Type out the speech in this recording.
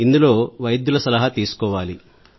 ఇందులో వైద్యుల సలహా తీసుకోవాలి